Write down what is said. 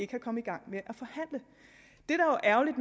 kan komme i gang med